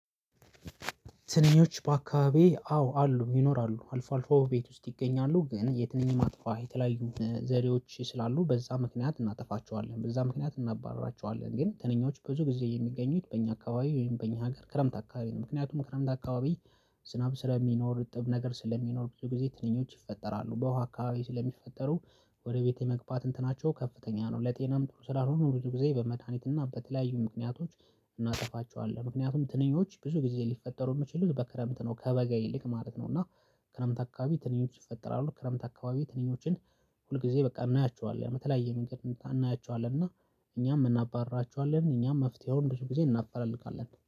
ትንኞች በአካባቢዬ አዎ አሉ ይኖራሉ አልፎ አልፎ ቤት ውስጥ ይገኛሉ። ግን የትንኝ ማጥፊያ የተለያዩ ዘዴዎች ስላሉ በዛ ምክንያት እናጠፋቸዋለን። በዛ ምክንያት እናባርራቸዋለን። ግን ትንኞች ብዙ ጊዜ የሚገኙት በእኛ አካባቢ ወይም በእኛ ሀገር ክረምት አካባቢ ነው። ምክንያቱም ክረምት አካባቢ ዝናብ ስለሚኖር እርጥብ ነገር ስለሚኖር ብዙ ጊዜ ትንኞች ይፈጠራሉ። በውሃ አካባቢ ስለሚፈጠሩ ወደ ቤቴ መግባት እንትናቸው ከፍተኛ ነው። ለጤናም ጥሩ ስላልሆኑ ብዙ ጊዜ በመድሃኒት እና በተለያዩ ምክንያቶች እናጠፋቸዋለን። ምክንያቱም ትንኞች ብዙ ጊዜ ሊፈጠሩ የሚችሉት በክረምት ነው ከበጋ ይልቅ ማለት ነው። እና ክረምት አካባቢ ትንኞች ይፈጠራሉ ክረምት አካባቢ ትንኞችን ሁል ጊዜ በቃ እናያቸዋለን የተለያየ መንገድ እናያቸዋለን። እና እኛም እናባርራችኋለን እኛም መፍትሄውን ብዙ ጊዜ እናፈላልጋለን